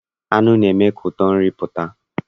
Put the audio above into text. Nnu na-eme ka ụtọ nri pụta.